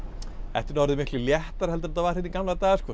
þetta er nú orðið miklu léttara heldur en þetta var hérna í gamla daga sko